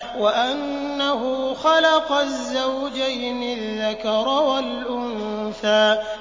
وَأَنَّهُ خَلَقَ الزَّوْجَيْنِ الذَّكَرَ وَالْأُنثَىٰ